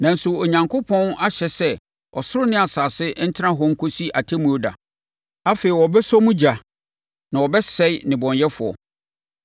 Nanso, Onyankopɔn ahyɛ sɛ ɔsoro ne asase ntena hɔ nkɔsi Atemmuo da. Afei wɔbɛsɔ emu ogya na wɔbɛsɛe nnebɔneyɛfoɔ.